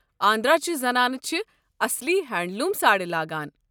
آندھرا چہِ زنانہٕ چھِ اصلی ہینڈلوٗم ساڑِ لاگان۔